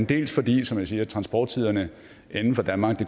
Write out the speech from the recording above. dels fordi som jeg siger at transporttiderne inden for danmark